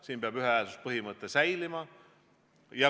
Siin peab säilima ühehäälsuse põhimõte.